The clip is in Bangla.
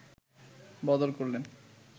বদল করলেন